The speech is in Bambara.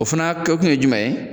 O fana kɛkun ye jumɛn ye.